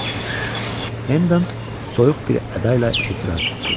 Hendon soyuq bir əda ilə etiraz etdi.